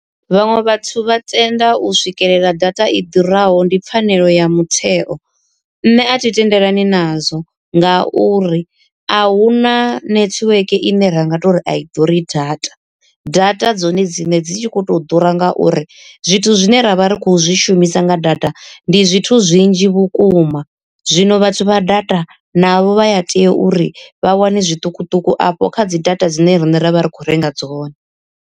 Vhaṅwe vhathu vha tenda u swikelela data i ḓuraho ndi pfhanelo ya mutheo. Nṋe athi tendelani nazwo nga uri a huna netiweke ine ra nga tori a i ḓuri data, data dzone dziṋe dzi tshi kho to ḓura ngauri zwithu zwine ravha ri kho zwi shumisa nga data ndi zwithu zwinzhi vhukuma. Zwino vhathu vha data navho vha ya tea uri vha wane zwiṱukuṱuku afho kha dzi data dzine riṋe ra vha ri khou renga dzone.